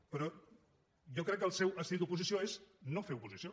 però jo crec que el seu estil d’oposició és no fer oposició